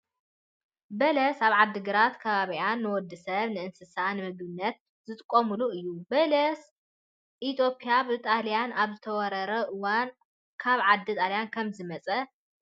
በለስ ኣብ ዓድግራትን ከባቢኣን ንወዲሰብን ንእንስሳት ንምግብነትን ዝጥቀምሉ እዩ። በለስ ኢትዮጵያ ብጣልያን ኣብ ዝተወረረትሉ እዋን ካብ ዓዲ ጣልያን ከም ዝመፀ ይንገር።